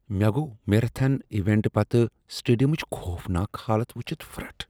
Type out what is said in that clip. مےٚ گوٚو marathon event پتہٕ سٹیڈیمٕچ خوفناک حالت وٕچھتھ پھرٹھ۔